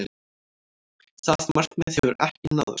Það markmið hefur ekki náðst.